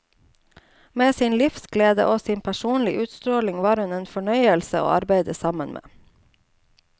Med sin livsglede og sin personlig utstråling var hun en fornøyelse å arbeide sammen med.